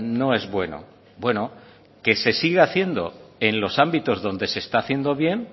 no es bueno bueno que se siga haciendo en los ámbitos donde se está haciendo bien